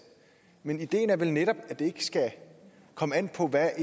men ideen er vel netop at det ikke skal komme an på hvad